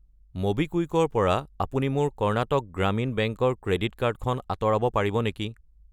MobiKwik ৰ পৰা আপুনি মোৰ কৰ্ণাটক গ্ৰামীণ বেংক ৰ ক্ৰেডিট কাৰ্ড খন আঁতৰাব পাৰিব নেকি?